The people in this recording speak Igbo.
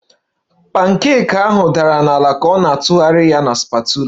Pancake ahụ dara n'ala ka ọ na-atụgharị ya na spatula